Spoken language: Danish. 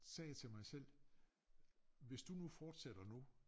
Sagde jeg til mig selv hvis du nu fortsætter nu